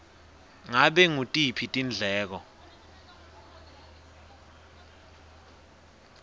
ngabe ngutiphi tindleko